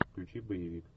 включи боевик